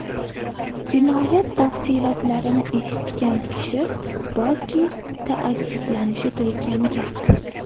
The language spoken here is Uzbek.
Jinoyat tafsilotlarini eshitgan kishi borki, taajjublanishi turgan gap.